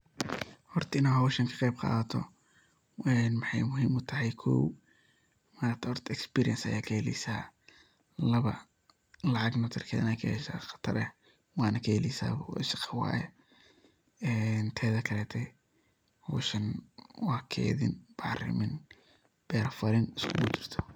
Horta inaad howshan ka qeyb qadato een waxay muhim u tahay kow, experience ayaad kaheleysa, laba lacag fican qatar ah ayad kaheleysa , waana kaheleysabo shaqo weye een tede kalete howshan waa kedin, bacrimin, beraa falin iskugu jirto.